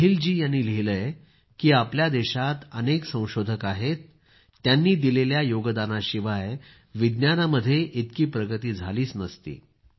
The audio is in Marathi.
स्नेहीलजी यांनी लिहिलं आहे की आपल्या देशात अगणित संशोधक आहेत त्यांनी दिलेल्या योगदानाशिवाय विज्ञानामध्ये इतकी प्रगती झाली नसती